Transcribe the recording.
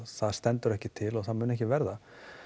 það stendur ekki til og mun ekki verða